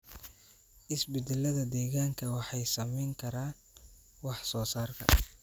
Isbeddellada deegaanka waxay saameyn karaan wax soo saarka.